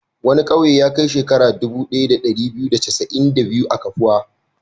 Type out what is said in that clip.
Wani ƙauye ya kai shekaru dubu ɗaya da ɗari biyu da casa'in da biyu a kafuwa.